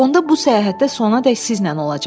onda bu səyahətdə sonadək sizlə olacam.